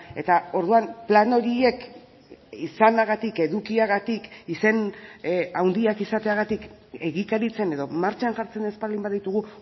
eta orduan plan horiek izanagatik edukiagatik izen handiak izateagatik egikaritzen edo martxan jartzen ez baldin baditugu